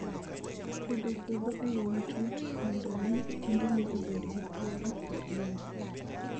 Pidho puodho e yo matut mondo mi tiendene obed gi thuolo mar dongo